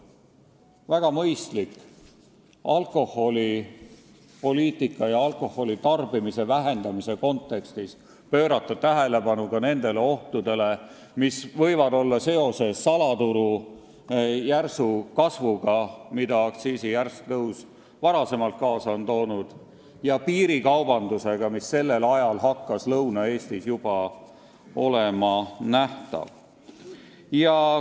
" Väga mõistlik on, et alkoholipoliitika ja alkoholitarbimise vähendamise kontekstis soovitati pöörata tähelepanu ka nendele ohtudele, mis olid võinud tekkida seoses salaturu järsu kasvuga, mille aktsiisi järsk tõus varasemalt oli kaasa toonud, ja piirikaubandusega, mis sellel ajal hakkas Lõuna-Eestis juba nähtav olema.